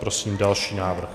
Prosím další návrh.